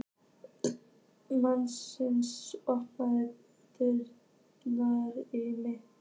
Manasína, opnaðu dagatalið mitt.